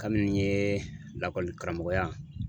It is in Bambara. Kabini n ye lakɔli karamɔgɔya